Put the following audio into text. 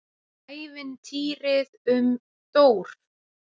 ÆVINTÝRIÐ UM DÓR